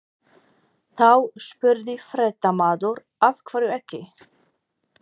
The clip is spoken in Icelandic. Þá spurði fréttamaður: Af hverju ekki?